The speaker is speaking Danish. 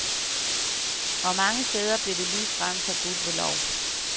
Og mange steder blev det ligefrem forbudt ved lov.